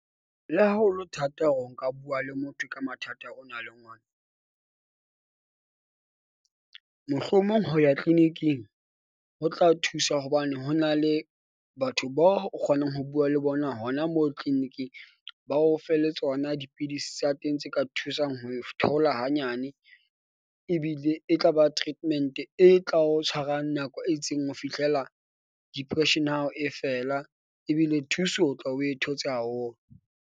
Le ha ho le thata hore o ka bua le motho ka mathata o na leng ona, mohlomong ho ya clinic-ing ho tla thusa hobane ho na le batho bao o kgonang ho bua le bona hona moo clinic-ing. Ba o fe le tsona dipidisi tsa teng tse ka thusang ho e thoula hanyane ebile e tla ba treatment-e e tla o tshwarang nako e itseng ho fihlela depression ya hao e fela. Ebile thuso o tla be o e thotse haholo.